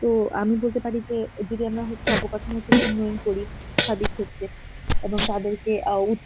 তো আমি বলতে পারি যে যদি আমরা উন্নয়ন করি এবং তাদেরকে আ উচ~